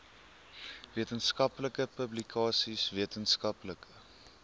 wetenskaplike publikasies wetenskaplike